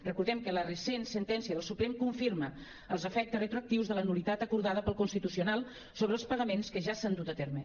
recordem que la recent sen·tència del suprem confirma els efectes retroactius de la nul·litat acordada pel consti·tucional sobre els pagaments que ja s’han dut a terme